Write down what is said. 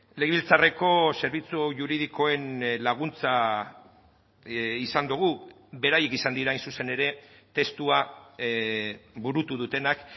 legebiltzarreko zerbitzu juridikoen laguntza izan dugu beraiek izan dira hain zuzen ere testua burutu dutenak